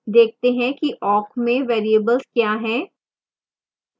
देखते हैं कि awk में variable क्या है